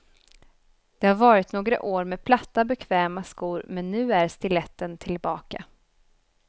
Det har varit några år med platta bekväma skor men nu är stiletten tillbaka.